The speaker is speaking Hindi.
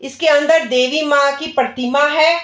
इसके अन्दर देवी माँ की परतीमा है।